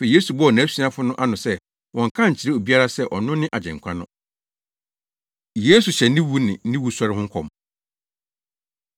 Afei Yesu bɔɔ nʼasuafo no ano se wɔnnka nkyerɛ obiara sɛ ɔno ne Agyenkwa no. Yesu Hyɛ Ne Wu Ne Ne Wusɔre Ho Nkɔm